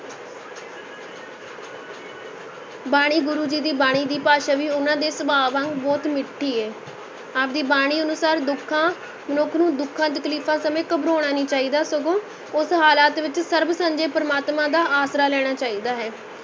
ਬਾਣੀ ਗੁਰੂ ਜੀ ਦੀ ਬਾਣੀ ਦੀ ਭਾਸ਼ਾ ਵੀ ਉਹਨਾਂ ਦੇ ਸੁਭਾਅ ਵਾਂਗ ਬਹੁਤ ਮਿੱਠੀ ਹੈ, ਆਪ ਦੀ ਬਾਣੀ ਅਨੁਸਾਰ ਦੁੱਖਾਂ ਮਨੁੱਖ ਨੂੰ ਦੁੱਖਾਂ ਤਕਲੀਫ਼ਾਂ ਸਮੇਂ ਘਬਰਾਉਣਾ ਨਹੀਂ ਚਾਹੀਦਾ ਸਗੋਂ ਉਸ ਹਾਲਾਤ ਵਿੱਚ ਸਰਬ ਸਾਂਝੇ ਪ੍ਰਮਾਤਮਾ ਦਾ ਆਸਰਾ ਲੈਣਾ ਚਾਹੀਦਾ ਹੈ।